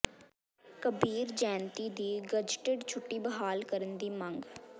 ਕਬੀਰ ਜੈਅੰਤੀ ਦੀ ਗਜ਼ਟਿਡ ਛੁੱਟੀ ਬਹਾਲ ਕਰਨ ਦੀ ਮੰਗ